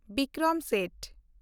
Bikram Seth